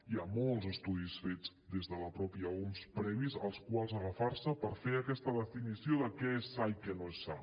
hi ha molts estudis fets des de la mateixa oms previs als quals agafar se per fer aquesta definició de què és sa i què no és sa